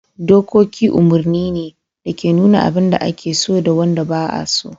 Dokoki umarni ne da ke nuna abin da ake so da wanda ba'a so.